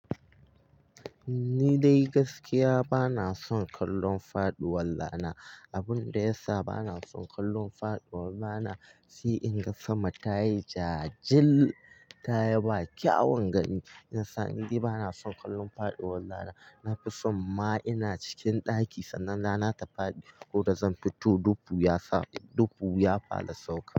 Ni dai gaskiya bana son kallon faduwar rana. Abun da ya sa bana son kallon faduwar rana si in ga sama tayi jajil, ta yi ba kyawan gani. Ina sa ni dai bana son kallon faduwar rana. Na fi son ma ina cikin ɗaki sannan da na tafi ko da zan fito dufu ya fara sauka.